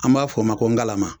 An m'a fo ma ko ngalama